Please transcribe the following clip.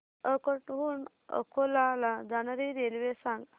अकोट हून अकोला ला जाणारी रेल्वे सांग